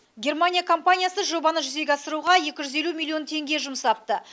германия компаниясы жобаны жүзеге асыруға екі жүз елу миллион теңге жұмсапты